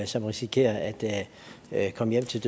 som risikerer at at komme hjem til